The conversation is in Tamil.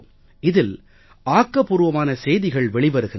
இதில் ஆக்கபூர்வமான செய்திகள் வெளிவருகின்றன